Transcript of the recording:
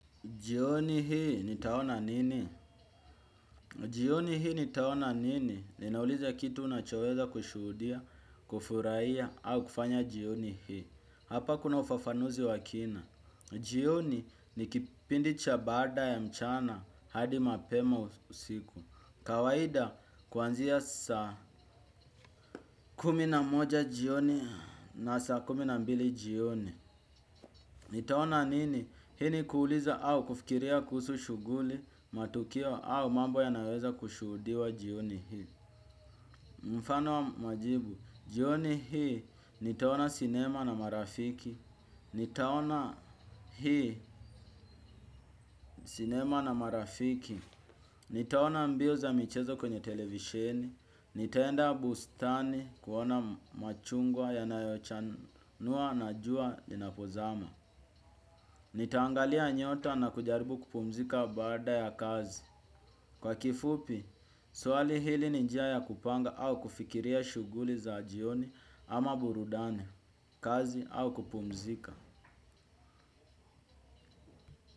Jioni hii nitaona nini? Jioni hii nitaona nini? Ninauliza kitu unachoweza kushudia, kufurahia, au kufanya jioni hii. Hapa kuna ufafanuzi wakina. Jioni ni kipindi cha baada ya mchana hadi mapema usiku. Kawaida kuanzia saa kumi na moja jioni na saa kumi na mbili jioni. Nitaona nini, hii ni kuuliza au kufikiria kuhusu shughuli, matukio au mambo yanayoweza kushuhudiwa jioni hii. Mfano wa majibu, jioni hii, nitaona sinema na marafiki, nitaona hii sinema na marafiki, nitaona mbio za michezo kwenye televisheni. Nitaenda bustani kuona machungwa yanayochanua na jua linapozama. Nitangalia nyota na kujaribu kupumzika baada ya kazi. Kwa kifupi, swali hili ni njia ya kupanga au kufikiria shughuli za jioni ama burudani, kazi au kupumzika.